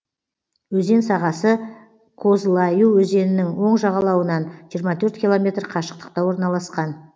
өзен сағасы козлаю өзенінің оң жағалауынан жиырма төрт километр қашықтықта орналасқан